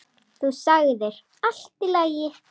Þú sagðir: Allt í lagi.